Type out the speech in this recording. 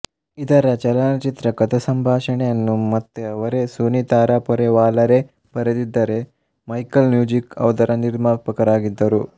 ಇದರ ಚಲನಚಿತ್ರ ಕಥೆಸಂಭಾಷಣೆಯನ್ನು ಮತ್ತೆ ಅವರೇ ಸೂನಿ ತಾರಾಪೊರೆವಾಲಾರೆ ಬರೆದಿದ್ದರೆಮೈಕೆಲ್ ನೊಜಿಕ್ ಅದರ ನಿರ್ಮಾಪಕರಾಗಿದ್ದರು